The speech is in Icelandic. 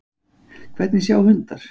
Hvernig sjá hundar?